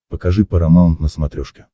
покажи парамаунт на смотрешке